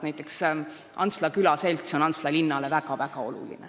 Näiteks Antsla külaselts on Antsla linnale väga-väga oluline.